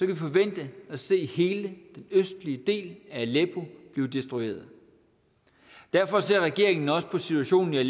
vi forvente at se hele den østlige del af aleppo blive destrueret derfor ser regeringen også på situationen i